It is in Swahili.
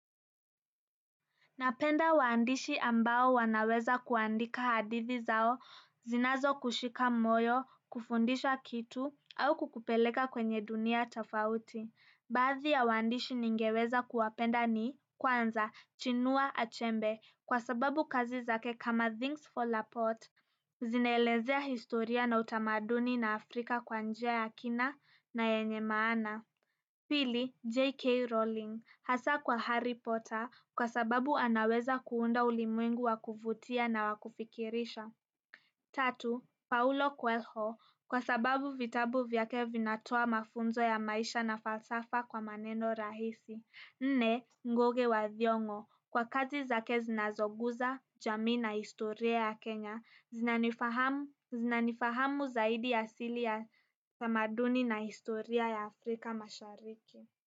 Napenda waandishi ambao wanaweza kuandika hadithi zao, zinazokushika moyo, kufundisha kitu, au kukupeleka kwenye dunia tofauti. Baadhi ya waandishi ningeweza kuwapenda ni kwanza, Chinua Achembe kwa sababu kazi zake kama Things fall apart. Zinaelezea historia na utamaduni na Afrika kwa njia ya kina na yenye maana. Pili, JK Rolling hasa kwa Harry Potter kwa sababu anaweza kuunda ulimwengu wa kuvutia na wa kufikirisha. Tatu, Paulo Kuelho, kwa sababu vitabu vyake vinatoa mafunzo ya maisha na falsafa kwa maneno rahisi. Nne, Ngoge wa Thiong'o kwa kazi zake zinazoguza jamii na historia ya Kenya, zinanifahamu zinanifahamu zaidi asili ya tamaduni na historia ya Afrika mashariki.